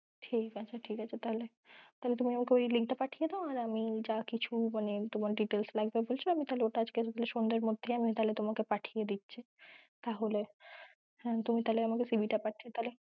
ঠিক আছে ঠিক আছে, তাহলে তুমি আমায় link তা পাঠিয়ে দাও আর আমি যা কিছু details লাগবে বলছো আজ সন্ধে বেলার মধ্যে তাহলে তোমায় পাঠিয়ে দিচ্ছি, তাহলে তুমি আমায় CV তা পাঠিও ।